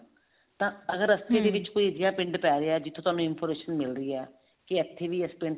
ਤਾਂ ਅਗਰ ਰਸਤੇ ਡੇ ਵਿੱਚ ਕੋਈ ਤੀਜਾ ਪਿੰਡ ਪੈ ਰਿਹਾ ਜਿੱਥੋਂ ਤੁਹਾਨੂੰ information ਮਿਲ ਰਹੀ ਹੈ ਕੀ ਇੱਥੇ ਵੀ ਇਸ ਪਿੰਡ